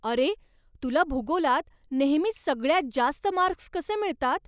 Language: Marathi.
अरे, तुला भूगोलात नेहमीच सगळ्यांत जास्त मार्क्स कसे मिळतात?